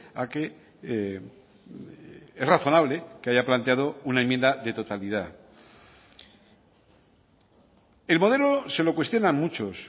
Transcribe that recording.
a que es razonable que haya planteado una enmienda de totalidad el modelo se lo cuestionan muchos